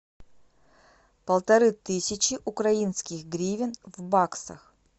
полторы тысячи украинских гривен в баксах